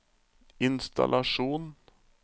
innstallasjon